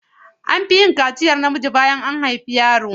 An fi yin kaciyar namiji bayan an haifi yaro.